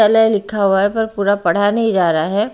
तलय लिखा हुआ है पर पूरा पढ़ा नहीं जा रहा है।